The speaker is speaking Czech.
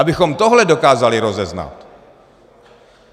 Abychom tohle dokázali rozeznat.